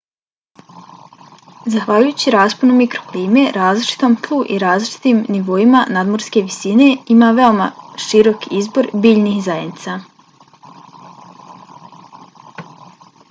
zahvaljujući rasponu mikroklime različitom tlu i različitim nivoima nadmorske visine ima veoma širok izbor biljnih zajednica